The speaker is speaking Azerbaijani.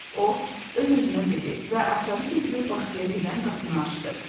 O öz-özünə dedi və açarı götürüb bağçaya gedən qapını açdı.